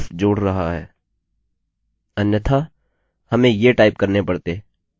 यह बताता है कि उपयोगकर्ता यहाँ केवल इंटर वेरिएबल्स जोड़ रहा है